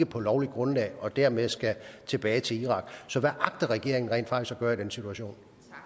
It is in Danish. på lovligt grundlag og dermed skal tilbage til irak så hvad agter regeringen rent faktisk at gøre i den situation